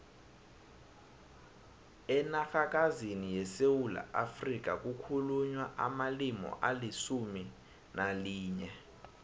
enarhakazini yesewula afrika kukhulunywa amalimi alisumu nalinye